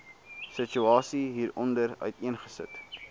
situasie hieronder uiteengesit